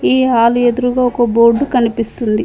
ఈ హాలు ఎదురుగా ఒక బోర్డు కనిపిస్తుంది.